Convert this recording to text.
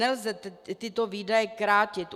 Nelze tyto výdaje krátit.